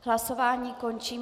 Hlasování končím.